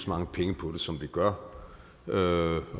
mange penge på det som vi gør og